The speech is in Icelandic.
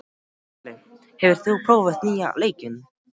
Hlölli, hefur þú prófað nýja leikinn?